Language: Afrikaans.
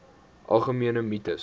algemene mites